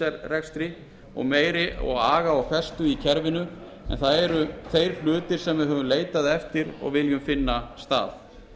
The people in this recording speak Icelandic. ríkisrekstri og meiri aga og festu í kerfinu en það eru þeir hlutir sem við höfum leitað eftir og viljum finna stað